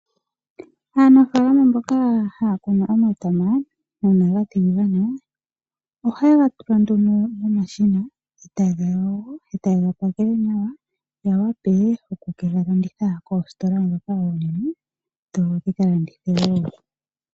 Aanfalama mboka haya kunu omatama una ga tiligana ohaye ga tula nduno momashina etaye ga yogo noku gapakela nawa ya wape oku ke galanditha koostola dhoka onene dho dhikalandithe wo.